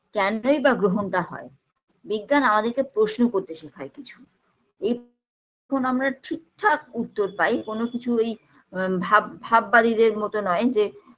কেনই বা গ্ৰহণটা হয় বিজ্ঞান আমাদেরকে প্রশ্ন করতে শেখায় কিছু এই যখন আমরা ঠিকঠাক উত্তর পাই কোনো কিছু ওই ভাব ভাববাদীদের মতো নয় যে